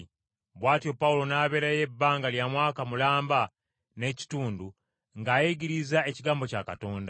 Bw’atyo Pawulo n’abeerayo ebbanga lya mwaka mulamba n’ekitundu ng’ayigiriza ekigambo kya Katonda.